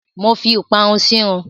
Mo fi ìparun sírun.